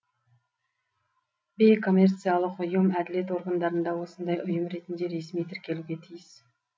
бейкоммерциялық ұйым әділет органдарында осындай ұйым ретінде ресми тіркелуге тиіс